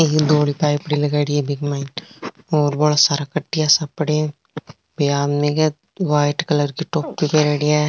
एक धौली पाइपडी लगाईडी है बिक माय और बहोत सारा कटिया सा पड़े है एक आदमी है व्हाइट कलर की टोपी पैरेडी है।